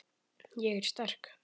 Ég er sterk.